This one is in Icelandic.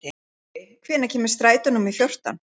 Tjörvi, hvenær kemur strætó númer fjórtán?